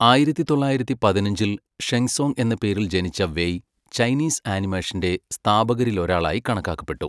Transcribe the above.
ആയിരത്തി തൊള്ളായിരത്തി പതിനഞ്ചിൽ ഷെങ് സോങ് എന്ന പേരിൽ ജനിച്ച വെയ് ചൈനീസ് ആനിമേഷന്റെ സ്ഥാപകരിലൊരാളായി കണക്കാക്കപ്പെട്ടു.